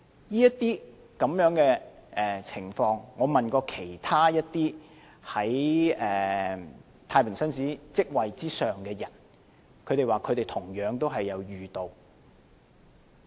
就這些情況，我問過其他在太平紳士職位之上的人，他們亦同樣遇到。